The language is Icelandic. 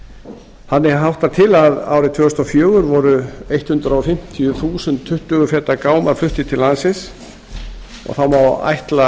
gámum þannig háttar til að árið tvö þúsund og fjögur voru hundrað fimmtíu þúsund tuttugu feta gámar fluttir til landsins og þá má